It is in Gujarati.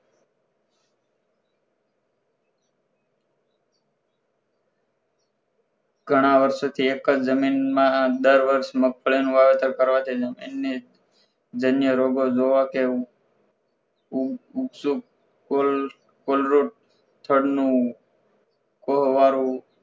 ઘણા વર્ષોથી એક જ જમીનમાં દર વર્ષ મગફળી નું વાવેતર કરવાથી અન્ય ધન્ય રોગ જોવા કે કોલરોડ થળ નું કવાળું